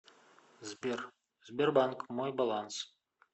сбер сбербанк мой баланс